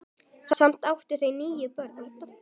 Saman áttu þau níu börn.